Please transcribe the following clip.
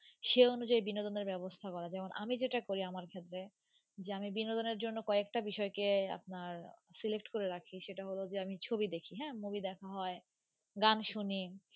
সে অনুযায়ী বিনোদনের ব্যবস্থা করা। যেমন, আমি যেটা করি আমার ক্ষেত্রে যে আমি বিনোদনের জন্য কয়েকটা বিষয়কে আপনার select করে রাখি, সেটা হল যে আমি ছবি দেখি, হ্যাঁ, movie দেখা হয়, গান শুনি